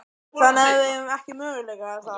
Þannig að við eigum ekki möguleika, er það?